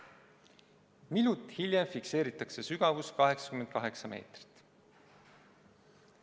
Minut hiljem fikseeritakse sügavus 88 meetrit.